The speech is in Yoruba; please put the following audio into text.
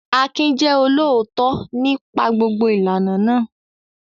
Akin jẹ́ olóòótọ́ nípa gbogbo ìlànà náà.